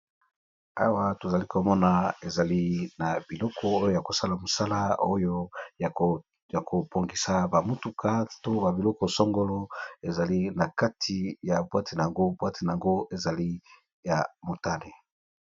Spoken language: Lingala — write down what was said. awa tozali komona ezali na biloko oyo ya kosala mosala oyo ya kopongisa bamutuka to babiloko songolo ezali na kati ya bwatenago bwatenago ezali ya motane